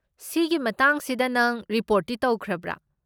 ꯁꯤꯒꯤ ꯃꯇꯥꯡꯁꯤꯗ ꯈꯪ ꯔꯤꯄꯣꯔꯠꯇꯤ ꯇꯧꯈ꯭ꯔꯕ꯭ꯔꯥ?